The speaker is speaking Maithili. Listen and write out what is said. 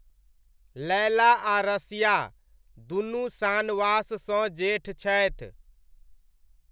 लैला आ रसिया, दुनू शानवाससँ जेठ छथि।